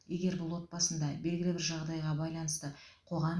егер бұл отбасында белгілі бір жағдайға байланысты қоғам